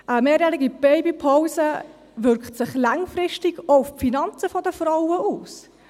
Eine mehrjährige Babypause wirkt sich langfristig auch auf die Finanzen der Frauen aus.